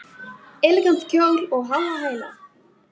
Elegant kjól og háa hæla